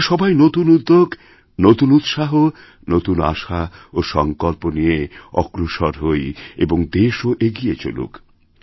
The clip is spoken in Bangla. আমরা সবাই নতুন উদ্যোগ নতুন উৎসাহনতুন আশা ও সংকল্প নিয়ে অগ্রসর হই এবং দেশও এগিয়ে চলুক